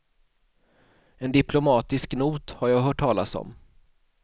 En diplomatisk not har jag hört talas om.